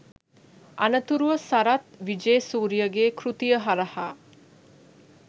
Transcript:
අනතුරුව සරත් විජේසූරියගේ කෘතිය හරහා